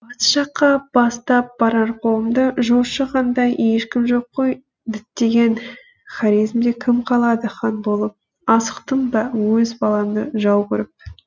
батыс жаққа бастап барар қолымды жошы хандай ешкім жоқ қой діттеген хорезмде кім қалады хан болып асықтым ба өз баламды жау көріп